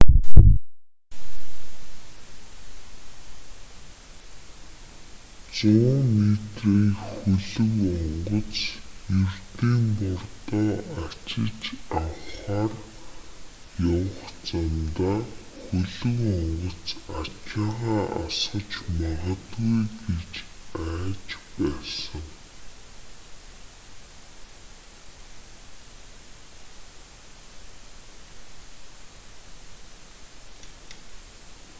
100 метрийн хөлөг онгоц ердийн бордоо ачиж авахаар явах замдаа хөлөг онгоц ачаагаа асгаж магадгүй гэж айж байсан